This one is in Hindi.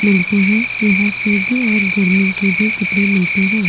मिलते हैं यहां सर्दी और गर्मी के भी कपड़े मिलते हैं।